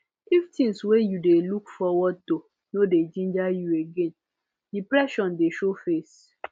if things wey you dey look forward to no dey ginger you again depression dey show face